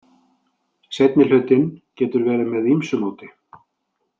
Seinni hlutinn getur verið með ýmsu móti.